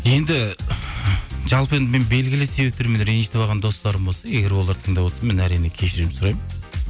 енді жалпы енді мен белгілі себептермен ренжітіп алған достарым болса егер олар тыңдап отырса мен әрине кешірім сұраймын